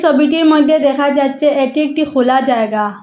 ছবিটির মইদ্যে দেখা যাচ্ছে এটি একটি খোলা জায়গা।